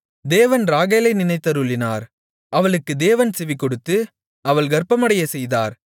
தேவன் ராகேலை நினைத்தருளினார் அவளுக்குத் தேவன் செவிகொடுத்து அவள் கர்ப்பமடையச் செய்தார்